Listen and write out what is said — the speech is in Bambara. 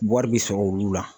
Wari bɛ sɔrɔ olu la.